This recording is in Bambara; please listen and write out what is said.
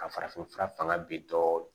Ka farafinfura fanga bi dɔɔnin